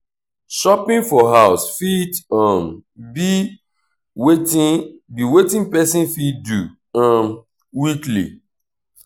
shopping for house fit um be wetin be wetin person fit do um weekly